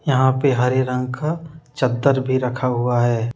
यहां पे हरे रंग का चद्दर भी रखा हुआ है।